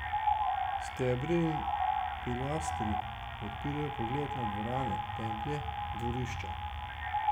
Stebri in pilastri odpirajo pogled na dvorane, templje, dvorišča.